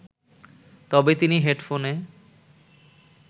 তবে তিনি হেডফোনে